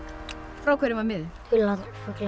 frá hverjum var miðinn dularfulla